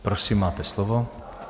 Prosím, máte slovo.